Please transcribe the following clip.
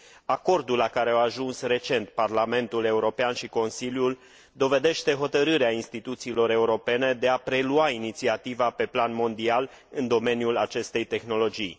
Acordul la care au ajuns recent Parlamentul European și Consiliul dovedește hotărârea instituțiilor europene de a prelua inițiativa pe plan mondial în domeniul acestei tehnologii.